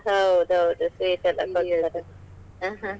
ಹೌದೌದ್ sweet ಎಲ್ಲ ಕೊಡ್ತಾರೆ.